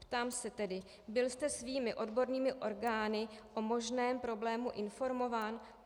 Ptám se tedy: Byl jste svými odbornými orgány o možném problému informován?